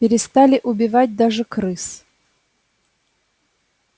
перестали убивать даже крыс